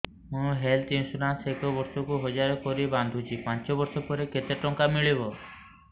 ମୁ health insurance ଏକ ବର୍ଷକୁ ହଜାର କରି ବାନ୍ଧୁଛି ପାଞ୍ଚ ବର୍ଷ ପରେ କେତେ ଟଙ୍କା ମିଳିବ